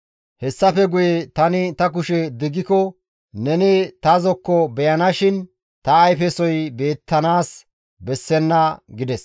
Hessafe guye tani ta kushe diggiko neni ta zokko beyanashin ta ayfesoy beettanaas bessenna» gides.